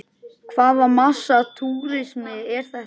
Hvaða massa túrismi er þetta?